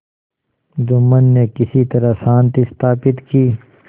जुम्मन ने किसी तरह शांति स्थापित की